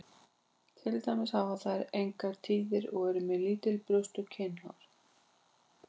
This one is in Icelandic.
Til dæmis hafa þær engar tíðir og eru með lítil brjóst og kynhár.